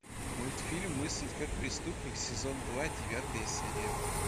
мультфильм мыслить как преступник сезон два девятая серия